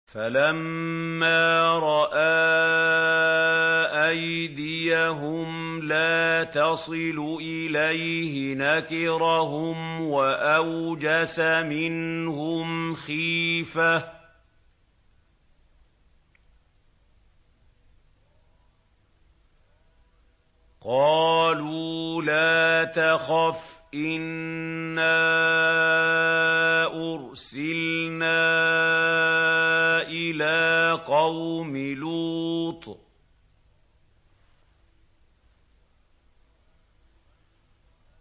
فَلَمَّا رَأَىٰ أَيْدِيَهُمْ لَا تَصِلُ إِلَيْهِ نَكِرَهُمْ وَأَوْجَسَ مِنْهُمْ خِيفَةً ۚ قَالُوا لَا تَخَفْ إِنَّا أُرْسِلْنَا إِلَىٰ قَوْمِ لُوطٍ